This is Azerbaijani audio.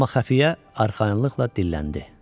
Amma xəfiyyə arxayınlıqla dilləndi.